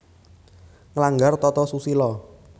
Nglanggar tata susila